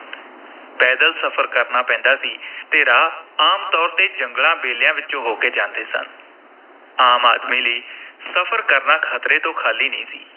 ਪੈਦਲ ਸਫ਼ਰ ਕਰਨਾ ਪੈਂਦਾ ਸੀ ਤੇ ਰਾਹ ਆਮ ਤੌਰ ’ਤੇ ਜੰਗਲਾਂ, ਬੇਲਿਆਂ ਵਿਚੋਂ ਹੋ ਕੇ ਜਾਂਦੇ ਸਨ, ਆਮ ਆਦਮੀ ਲਈ ਸਫ਼ਰ ਕਰਨਾ ਖਤਰੇ ਤੋਂ ਖਾਲੀ ਨਹੀਂ ਸੀ।